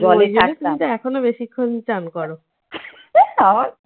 তো ঐ জন্যই তুমি এখনো বেশিক্ষণ চান করো।